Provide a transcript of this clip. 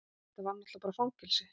Þetta var náttúrlega bara fangelsi.